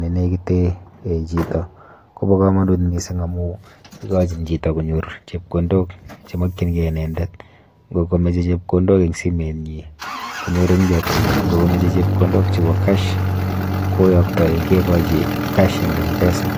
nenekite [um]chito kopo komonut mising amu ikochin chito konyor chepkondok chemokchinkei inendet, nkokamoche chepkondok eng simenyi konyoru eng chokchinet, nkokamoche chepkondok chepo cash koyoktoi kekochi cash eng m-pesa.